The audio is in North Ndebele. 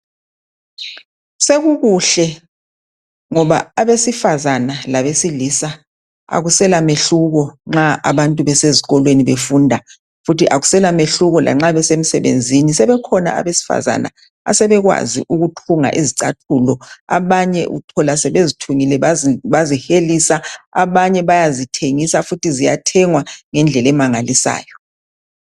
sekukuhle ngoba abesifazana labesilisa akusela mehluko nxa abantu besezikolweni befunda futhi akusela mehluko lanxa besemsebenzini sekukhona abesifazana asebekwazi ukuthunga izicathulo abanye uthola sebezithungile bazihlelisa abanye bayazithengisa futhi ziyathengwa ngendlela emangalisayo